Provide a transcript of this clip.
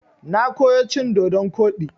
Na koyo cin dodon koɗi.